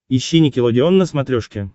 ищи никелодеон на смотрешке